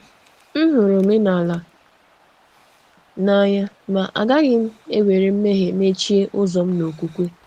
M hụrụ omenala n’anya, ma um agaghị m ewere um mmehie mechie ụzọ m um n’okwukwe.